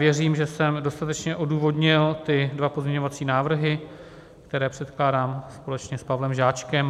Věřím, že jsem dostatečně odůvodnil ty dva pozměňovací návrhy, které předkládám společně s Pavlem Žáčkem.